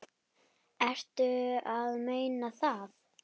Ertu að meina það?